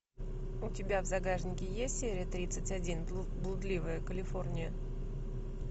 у тебя в загашнике есть серия тридцать один блудливая калифорния